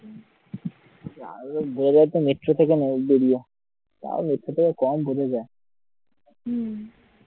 হম